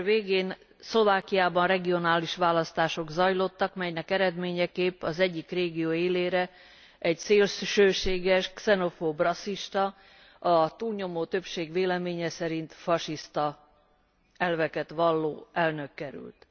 November végén Szlovákiában regionális választások zajlottak, melyek eredményeképp az egyik régió élére egy szélsőséges, xenofób, rasszista, a túlnyomó többség véleménye szerint fasiszta elveket valló elnök került.